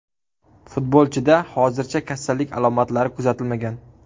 Futbolchida hozircha kasallik alomatlari kuzatilmagan.